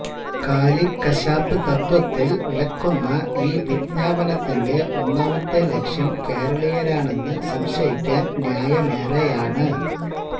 കാലിക്കശാപ്പ് തത്ത്വത്തില് വിലക്കുന്ന ഈ വിജ്ഞാപനത്തിന്റെ ഒന്നാമത്തെ ലക്ഷ്യം കേരളീയരാണെന്നു സംശയിക്കാന് ന്യായമേറെയാണ്